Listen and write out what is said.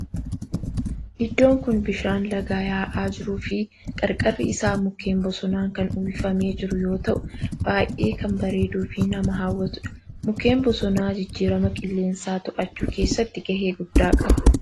Iddoon kun bishaan lagaa yaa'aa jiruu fi qarqarri isaa mukkeen bosonaan kan uwwifamee jiru yoo ta'u baayyee kan bareeduu fi nama hawwatudha. Mukkeen bosonaa jijjiirama qilleensaa to'achuu keessatti gahee guddaa qaba.